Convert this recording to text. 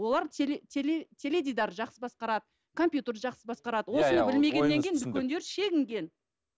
олар теледидар жақсы басқарады компьютерді жақсы басқарады осыны білмегеннен кейін үлкендер шегінген